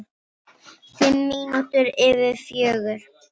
Fimm mínútur yfir fjögur.